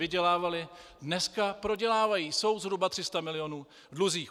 Vydělávaly, dneska prodělávají, jsou zhruba 300 mil. v dluzích.